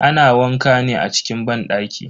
Ana wanka ne a cikin banɗaki.